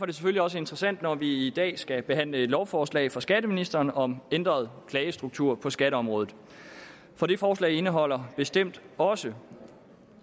det selvfølgelig også interessant at vi i dag skal behandle et lovforslag fra skatteministeren om ændret klagestruktur på skatteområdet for det forslag indeholder bestemt også